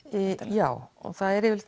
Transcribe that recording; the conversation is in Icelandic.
já og það er yfirleitt